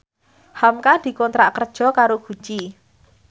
hamka dikontrak kerja karo Gucci